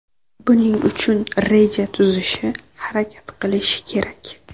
Buning uchun reja tuzishi, harakat qilishi kerak.